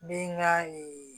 N bɛ n ka